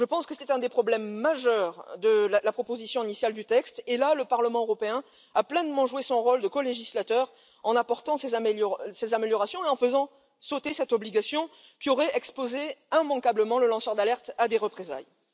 Je pense que c'était un des problèmes majeurs de la proposition initiale du texte et, sur ce point, le Parlement européen a pleinement joué son rôle de colégislateur en apportant ces améliorations et en faisant sauter cette obligation qui aurait exposé immanquablement le lanceur d'alerte à des représailles.